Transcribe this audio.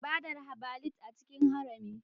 Ibadar herbalist a cikin harami